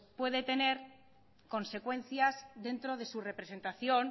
puede tener consecuencias dentro de su representación